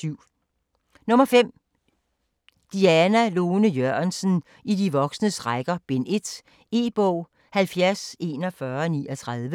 5. Jørgensen, Lone Diana: I de voksnes rækker: Bind 1 E-bog 704139